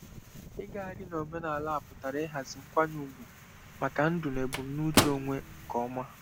Ịgagharị n'omenala a pụtara ịhazi nkwanye ùgwù maka ndu na ebumnuche onwe nke ọma.